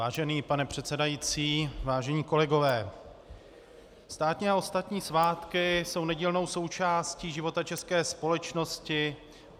Vážený pane předsedající, vážení kolegové, státní a ostatní svátky jsou nedílnou součástí života české společnosti.